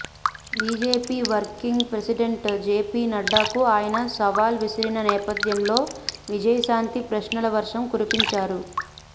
BJP working president JP నడ్డాకు ఆయన సవాల్ విసిరిన నేపథ్యంలో విజయశాంతి ప్రశ్నల వర్షం కురిపించారు